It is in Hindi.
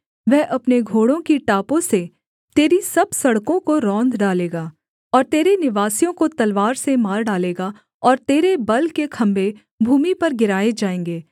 वह अपने घोड़ों की टापों से तेरी सब सड़कों को रौंद डालेगा और तेरे निवासियों को तलवार से मार डालेगा और तेरे बल के खम्भें भूमि पर गिराए जाएँगे